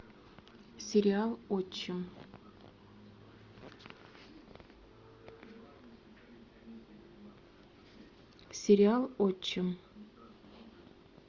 сериал отчим сериал отчим